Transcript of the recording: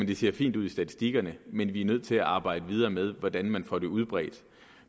det ser fint ud i statistikkerne men at vi er nødt til at arbejde videre med hvordan man får det udbredt